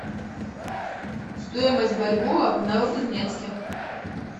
стоимость бальбоа в новокузнецке